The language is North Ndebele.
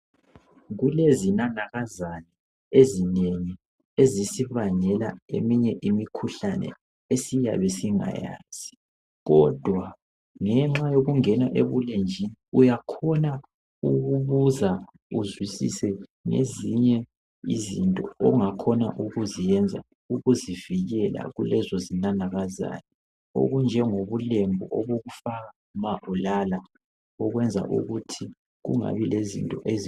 Kulezinanakazana ezinengi ezisibangela eminye imikhuhlane esiyabe singayazi kodwa ngenxa yokungena ebulenjini uyakhona ukubuza uzwisise ngezinye izinto ongakhona ukuziyenza ukuzivikela kulezo zinanakazana okunjengobulembu obokufaka ma ulala okwenza ukuthi kungabi lezinto ezi.